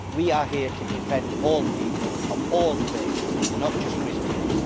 We are here to defend all people of all faiths, not just Christians.